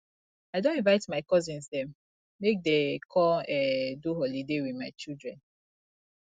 i don invite my cousins dem make dey come um do holiday wit my children